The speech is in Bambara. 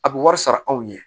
A bɛ wari sara anw ɲɛ